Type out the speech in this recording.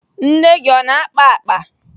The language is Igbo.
Nne gị ọ na-akpa akpa?